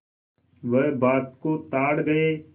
वह बात को ताड़ गये